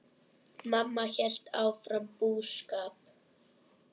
Mamma hélt áfram búskap.